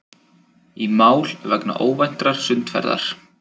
Í mál vegna óvæntrar sundferðar